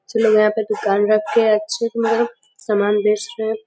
अच्छे लोग यहां पे दुकान रख के अच्छे से मतलब सामान बेच रहे हैं।